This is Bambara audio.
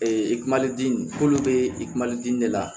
Ee i kulodi k'olu bɛ i kulu dimi de la